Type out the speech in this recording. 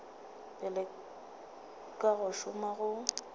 pele ka go šoma go